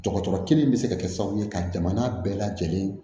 Dɔgɔtɔrɔ kelen bɛ se ka kɛ sababu ye ka jamana bɛɛ lajɛlen